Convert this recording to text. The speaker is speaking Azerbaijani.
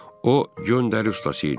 O göndəri ustası idi.